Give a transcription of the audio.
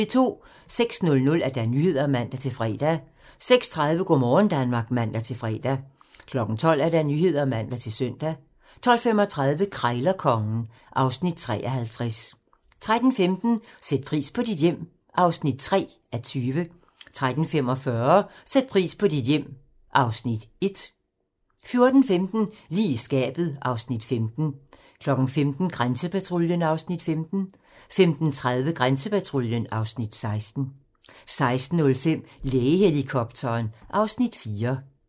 06:00: Nyhederne (man-fre) 06:30: Go' morgen Danmark (man-fre) 12:00: Nyhederne (man-søn) 12:35: Krejlerkongen (Afs. 53) 13:15: Sæt pris på dit hjem (3:20) 13:45: Sæt pris på dit hjem (Afs. 1) 14:15: Lige i skabet (Afs. 15) 15:00: Grænsepatruljen (Afs. 15) 15:30: Grænsepatruljen (Afs. 16) 16:05: Lægehelikopteren (Afs. 4)